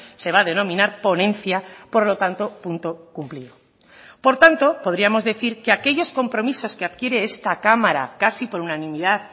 se va a denominar ponencia por lo tanto punto cumplido por tanto podríamos decir que aquellos compromisos que adquiere esta cámara casi por unanimidad